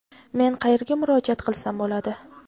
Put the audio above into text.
Men qayerga murojaat kilsam bo‘ladi?.